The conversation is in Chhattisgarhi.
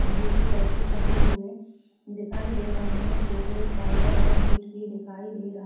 मैगी के पैकेट टंगे हुए दिखाई दे रहे हैं जो कुछ पाउडर और मिट भी दिखाई दे रहा है।